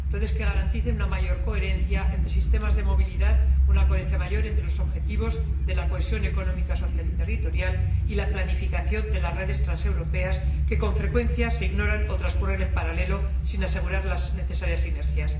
redes que garanticen una mayor coherencia entre sistemas de movilidad, una mayor coherencia entre los objetivos de la cohesión económica, social y territorial y la planificación de las redes transeuropeas, que, con frecuencia, se ignoran o transcurren en paralelo sin asegurar las necesarias inercias.